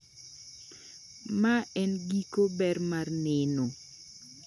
Mae ng'iko ber mar neno